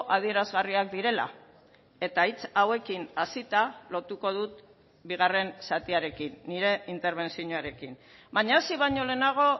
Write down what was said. adierazgarriak direla eta hitz hauekin hasita lotuko dut bigarren zatiarekin nire interbentzioarekin baina hasi baino lehenago